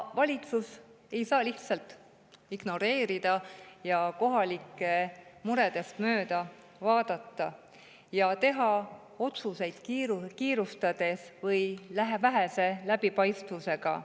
Valitsus ei saa lihtsalt ignoreerida ja kohalike muredest mööda vaadata, teha otsuseid kiirustades või vähese läbipaistvusega.